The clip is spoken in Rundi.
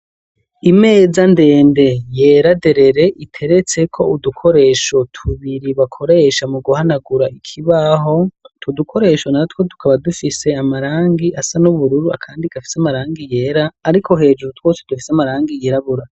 Imeza ndende yera derere iteretseko udukoresho tubiri bakoresha mu guhanagura ikibaho, utwo dukoresho natwo tukaba dufise amarangi asa n'ubururu, akandi gafise amarangi yera ariko hejuru twose dufise amarangi yirabura.